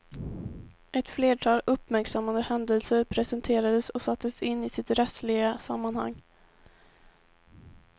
Ett flertal uppmärksammade händelser presenterades och sattes in i sitt rättsliga sammanhang.